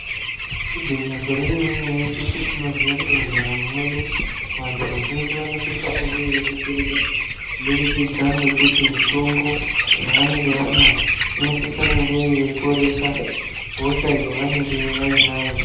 Gwinyiso remene mene teshe tinoziye kuti mundaramo mwedu vantu vazhinji vanosise kunge veidetsereka kubudikidza ngekuti mitombo yavanenge vamwa inosise kunge yeiporesa hosha yavanenge vainayo.